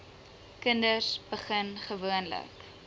kinders begin gewoonlik